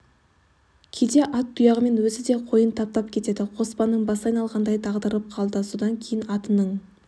кейде ат тұяғымен өзі де қойын таптап кетеді қоспанның басы айналғандай дағдарып қалды содан кейін атының